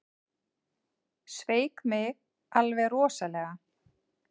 Sveik mig alveg rosalega.